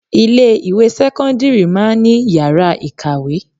Ilé ìwé sẹ́kọ́ńdírì máa ń ní yàrá ìkàwé.